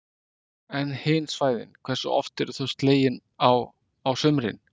En hin svæðin, hversu oft eru þau slegin á, á sumrin?